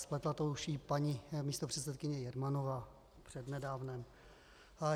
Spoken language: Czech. Spletla to už i paní místopředsedkyně Jermanová přednedávnem.